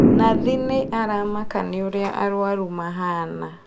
Nathi nĩ aramaka nĩ ũrĩa arwaru mahana